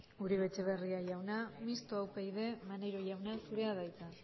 uribe etxebarria jauna mixto upyd maneiro jauna zurea da hitza